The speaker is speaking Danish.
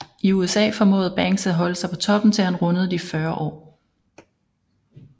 I USA formåede Banks at holde sig på toppen til han rundede de 40 år